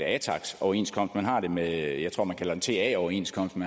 atax overenskomst man har det med det jeg tror man kalder ta overenskomsten